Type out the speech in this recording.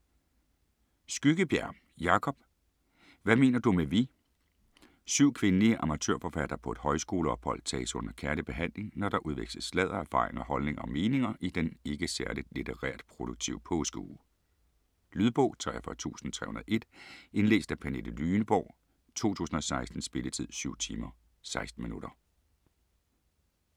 Skyggebjerg, Jacob: Hvad mener du med vi Syv kvindelige amatørforfattere på et højskoleophold tages under kærlig behandling, når der udveksles sladder, erfaringer, holdninger og meninger i den ikke særligt litterært produktive påskeuge. Lydbog 43301 Indlæst af Pernille Lyneborg, 2016. Spilletid: 7 timer, 16 minutter.